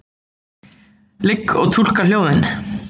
Ligg og túlka hljóðin.